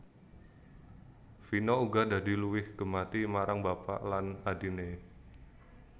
Vino uga dadi luwih gemati marang bapak lan adhiné